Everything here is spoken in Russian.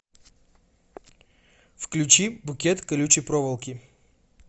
включи букет колючей проволоки